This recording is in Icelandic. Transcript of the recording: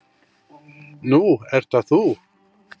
Nú ert það þú.